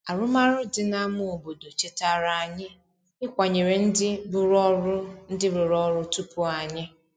Arụmarụ dị n’ámá obodo chetara anyị ịkwanyere ndị rụrụ ọrụ ndị rụrụ ọrụ tupu anyị.